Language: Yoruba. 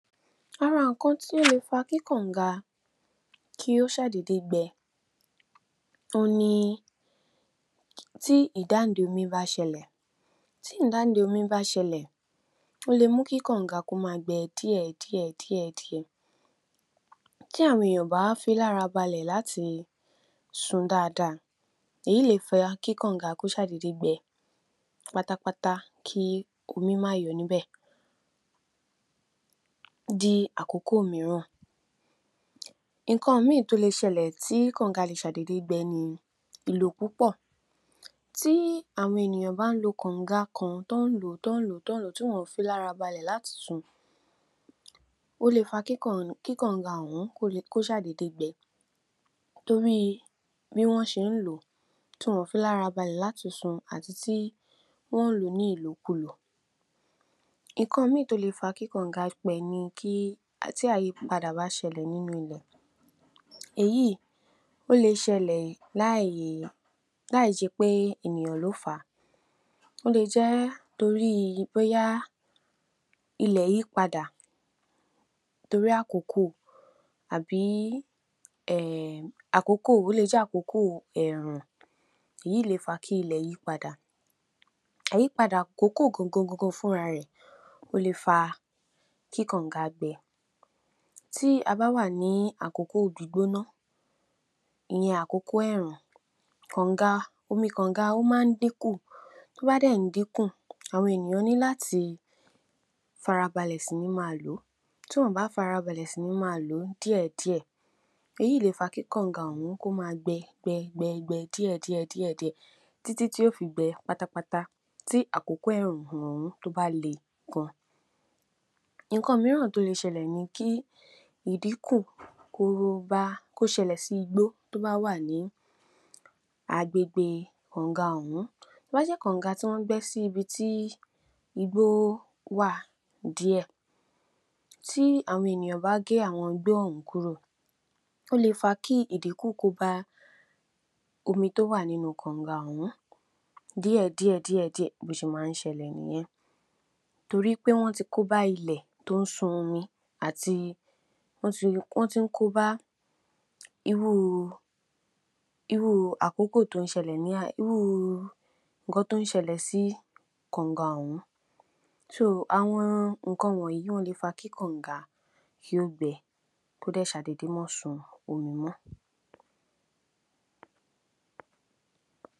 Àwọn ǹkan tí ó le fa kí kàǹga kó ṣàdédé gbẹ òhun ni tí ìdáǹde omí bá ṣẹlẹ̀. Tí ìdáǹde omí bá ṣẹlẹ̀ ó lè mú kí kàǹga ma gbẹ díẹ̀ díẹ̀ díẹ̀ díẹ̀ tih àwọn èyàn ò bá fi í lára balẹ̀ láti sun dáadáa èyí lè fa kí kàǹga kó ṣàdédé gbẹ pátápátá kí omí má yọ níbẹ̀ di àkókò míràn. Ǹkan míì tó le ṣẹlẹ̀ ti kàǹga ma ṣàdédé gbẹ ni ìlò púpọ̀ tí àwọn ènìyàn bá ń lo kàǹga kan t’ọ́n ń lò ó, t’ọ́n ń lò ó, t’ọ́n ń lò ó tí wọn fi í lára balẹ̀ láti sun ó le fa kí kàǹga ọ̀hún kó ṣàdédé gbẹ torí i bí wọ́n ṣe ń lò ó tí wọn ò fí lára balẹ̀ láti sun àti tí wọ́n lò ó ní ìlòkulò. Ǹkan míì tó le fa kí kàǹgá gbẹ ni kí tí àyípadà bá ṣẹlẹ̀ nínú ilẹ̀ èyí ó le ṣẹlẹ̀ láì ṣe pé ènìyàn ló fà á ó le jẹ́ torí i bóyá ilè yí padà torí àkókò àbí um àkókò ó le jẹ́ àkókò ẹ̀rùn èyí le è fa kí ilẹ̀ yí padà. Àyípadà àkókò gangan gangan fúnra rẹ̀ ó lè fa kí kàǹgá gbẹ tí a bá wà ní àkókò gbígbóná ìyẹn àkókò ẹ̀rùn kàǹgá omi kàǹgá ó ma ń dínkù tó bá dẹ̀ ń dínkù àwọn ènìyàn ní láti fara balẹ̀ sí ní máa lò ó tí wọn ò bá fara balẹ̀ sí ní máa lò ó ní díẹ̀ díẹ̀ èyí lè fa kí kàǹgá ọ̀hún kó máa gbẹ gbẹ gbẹ gbẹ díẹ̀ díẹ̀ díẹ̀ díẹ̀ títí tí yó fi gbẹ pátápátá tí àkókò ẹ̀rùn ọ̀hún tó bá le gan. Ǹkan míràn tó le ṣẹlẹ̀ ni kí ìdínkù kó bá kó ṣẹlẹ̀ sí igbó tó bá wà ní agbègbè kàǹgá ọ̀hún. Tó bá jẹ́ kàǹgá tí wọ́n gbé sí ibi tí igbó wà díẹ̀ tí àwọn ènìyàn bá gé àwọn igbó ọ̀hún kúrò ó le fa kí ìdínkù kó bá omi tó wà nínú u kàǹgá ọ̀hún díẹ̀ díẹ̀ díẹ̀ díẹ̀ bó ṣe ma ń ṣẹlẹ̀ nìyẹn torí pé wọ́n ti kóbá ilẹ̀ tó ń sun omi àti wọ́n ti wọ́n tún kóbá irú u àkókò tó ń ṣẹlẹ̀ ní à irú u ǹkan tó ń ṣelẹ̀ sí kàǹgá ọ̀hún. So àwọn ǹkan wọ̀nyí wọ́n lè fa kí kàǹgá kí ó gbẹ kó dẹ̀ ṣàdédé má sun omi mọ́.